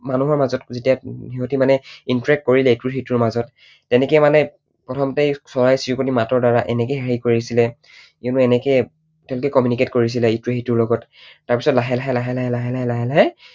মানুহৰ মাজত যেতিয়া সিহতে মানে interact কৰিলে ইটো সিটোৰ মাজত, তেনেকৈ মানে প্ৰথমতে চৰাই চিৰিকটিৰ মাতৰ দ্বাৰা এনেকৈয়েই হেৰি কৰিছিলে you know এনেকৈয়েই তেঁওলোকে communicate কৰিছিলে ইটোৱে সিটোৰ লগত। তাৰপিছত লাহে লাহে লাহে লাহে